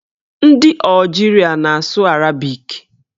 Ndị Ọjiria na-asụ arabik.